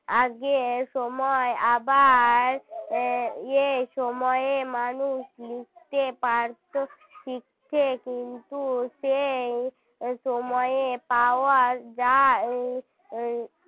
আগের সময় আবার উম এই সময়ে মানুষ লিখতে পারত শিখছে কিন্তু সেই সময়ে পাওয়া যায় উম